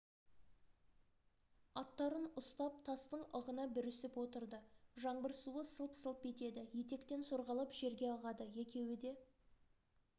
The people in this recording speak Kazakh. аттарын ұстап тастың ығына бүрісіп отырды жаңбыр суы сылп-сылп етеді етектен сорғалап жерге ағады екеуі де